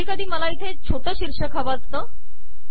कधी कधी मला इथे छोटे शीर्षक हवे असते